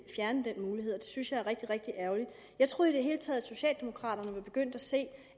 fjerne den mulighed og det synes jeg er rigtig rigtig ærgerligt jeg troede i det hele taget at socialdemokraterne var begyndt at se